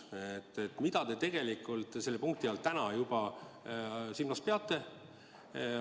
Mida te selle punkti all juba täna silmas peate?